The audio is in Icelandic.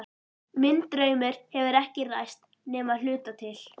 Minn draumur hefur ekki ræst nema að hluta til.